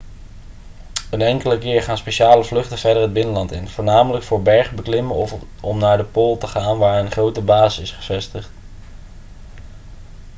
een enkele keer gaan speciale vluchten verder het binnenland in voornamelijk voor bergbeklimmen of om naar de pool te gaan waar een grote basis is gevestigd